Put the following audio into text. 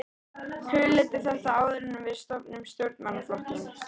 Hugleiddu þetta áður en við stofnum stjórnmálaflokkinn!